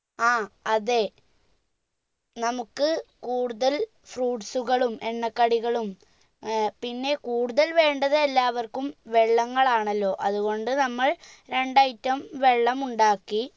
ആ അതെ നമ്മുക്ക് കൂടുതൽ fruits സുകളും എണ്ണ കടികളും ഏർ പിന്നെ കൂടുതൽ വേണ്ടത് എല്ലാവര്ക്കും വെള്ളങ്ങളാണല്ലോ അതുകൊണ്ട് നമ്മൾ രണ്ട് item വെള്ളം ഉണ്ടാക്കി